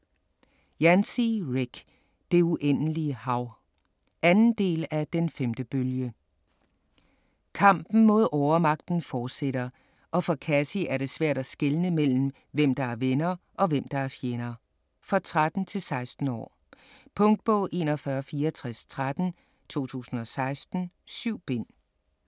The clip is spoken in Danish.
Yancey, Rick: Det uendelige hav 2. del af Den 5. bølge. Kampen mod overmagten fortsætter og for Cassie er det svært at skelne hvem der er venner og hvem der er fjender. For 13-16 år. Punktbog 416413 2016. 7 bind.